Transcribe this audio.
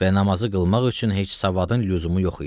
Və namazı qılmaq üçün heç savadın lüzumu yox idi.